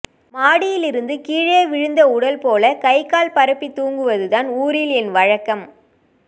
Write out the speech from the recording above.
மாடியிலிருந்து கீழே விழுந்த உடல் போல கைகால் பரப்பி தூங்குவதுதான் ஊரில் என் வழக்கம்